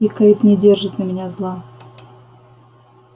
и кэйд не держит на меня зла